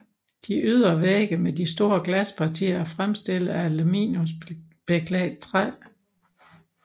De ydre vægge med de store glaspartier er fremstillet af aluminiumbeklædt træ